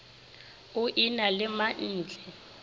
o e na le mantle